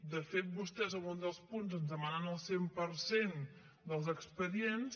de fet vostès en un dels punts ens demanen el cent per cent dels expedients